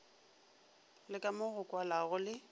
le kamo go kwalago le